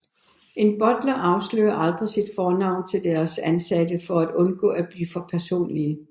En Butler afslører aldrig sit fornavn til deres ansatte for at undgå at blive for personlige